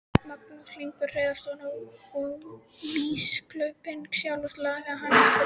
Magnús Hlynur Hreiðarsson: Og vígslubiskupinn sjálfur, lagði hann eitthvað til?